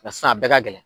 sisan a bɛɛ ka gɛlɛn